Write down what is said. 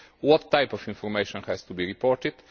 What kind of information has to be reported?